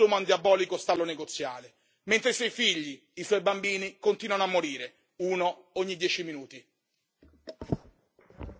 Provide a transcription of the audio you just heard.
Non è solo il nostro appello, è l'appello disperato del popolo yemenita, mentre si consuma un diabolico stallo negoziale, mentre i suoi figli, i suoi bambini, continuano a morire, uno ogni dieci minuti.